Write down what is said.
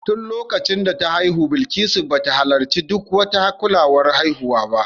Tun lokacin da ta haihu Bilikisu ba ta halarci duk wata kulawar haihuwa ba